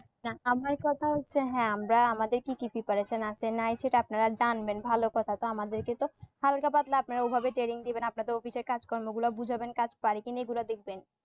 না আমার কথা হচ্ছে হ্যা আমরা আমাদের কি কি preparation আসে নাই সেটা আপনারা জানবেন ভালো কথা তো আমাদেরকে তো হালকা পাতলা আপনারা ওই ভাবে training দিবেন আপনাদের office এর কাজ কর্ম গুলা বুঝাবেন কাজ পারি কি নে এ গুলা দেকবেন।